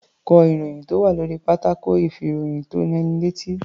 Ká ìròyìn tó wà lórí pátákó ìfìròyìntónilétí.